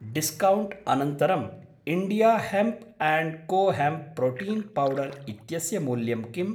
Discount अनन्तरं India hemp and co hemp protein powder इत्यस्य मूल्यं किम्?